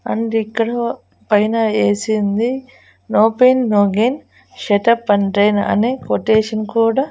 and ఇక్కడ పైన AC ఉంది no pain no gain shut up అని క్వాటేషన్ కూడా--